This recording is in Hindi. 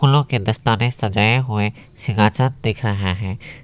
अंदर एक बड़ा सा काली मां का मूर्ति रखा हुआ है।